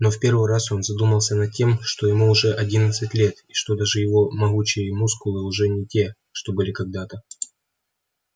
но в первый раз он задумался над тем что ему уже одиннадцать лет и что даже его могучие мускулы уже не те что были когда-то